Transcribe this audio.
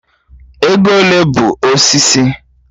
Ego ole bụ osisi?